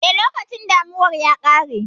Eh, lokacin damunar ya ƙare.